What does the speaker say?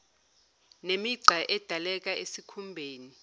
nemigqa edaleka esikhumbeni